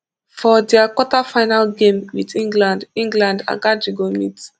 for dia quarterfinal game wit england england akanji go meet